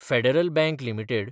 federal Bank limited